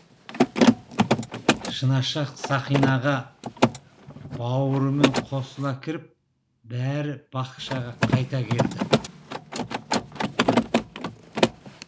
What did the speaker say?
шынашақ сақинаға бауырымен қосыла кіріп бәрі бақшаға қайта келді